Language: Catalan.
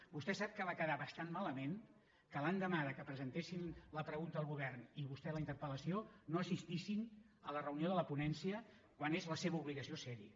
vostè sap que va quedar bastant malament que l’endemà que presentessin la pregunta al govern i vostè la interpelsin a la reunió de la ponència quan és la seva obligació serhi